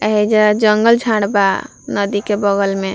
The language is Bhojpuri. एहिजा जंगल झाड़ बा नदी के बगल में।